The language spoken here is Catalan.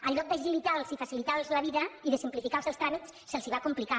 en lloc d’agilitar los i facilitar los la vida i de simplificar los els tràmits se’ls va complicar